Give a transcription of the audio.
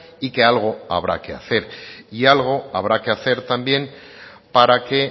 y que algo habrá que hacer y algo habrá que hacer también para que